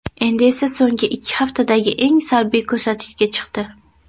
Endi esa so‘nggi ikki haftadagi eng salbiy ko‘rsatkichga chiqdi.